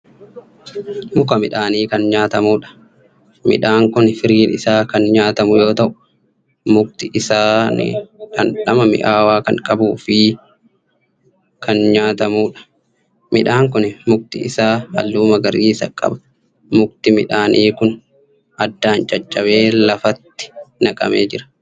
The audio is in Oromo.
Muka midhaanii kan nyaatamuudha. midhaan Kuni firiin Isaa Kan nyaatamu yoo ta'u mukni isaan dhandhama mi'aawaa Kan qabuufi Kan nyaatamuudha. midhaan Kuni mukni Isaa halluu magariisa qaba. mukni midhaanii Kun addaan caccabee lafatti naqamee jira.